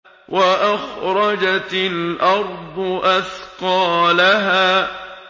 وَأَخْرَجَتِ الْأَرْضُ أَثْقَالَهَا